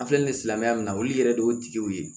An filɛ nin ye silamɛya min na olu yɛrɛ de y'o tigiw ye